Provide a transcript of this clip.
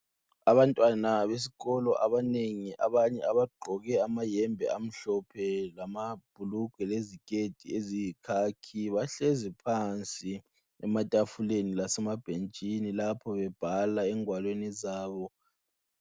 Abantwana besikolo abanengi abanye abagqoke amayembe amhlophe lamabhulugwe leziketi eziyikhakhi bahlezi phansi ematafuleni lasemabhentshini lapho bebhala engwalweni zabo.